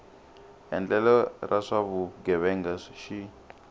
endlelo ra swa vugevenga xi